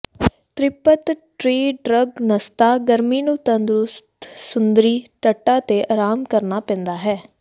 ਤ੍ਰਿਪਤਤ੍ਰਿਡ੍ਰਗਨਸਤਾ ਗਰਮੀ ਨੂੰ ਤੰਦਰੁਸਤ ਸਮੁੰਦਰੀ ਤੱਟਾਂ ਤੇ ਆਰਾਮ ਕਰਨਾ ਪੈਂਦਾ ਹੈ